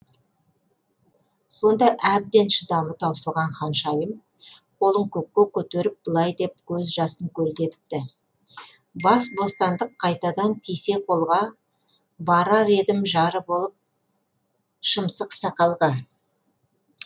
сонда әбден шыдамы таусылған ханшайым қолын көкке көтеріп былай деп көз жасын көлдетіпті бас бостандық қайтадан тисе қолға барар едім жары болып шымсықсақалға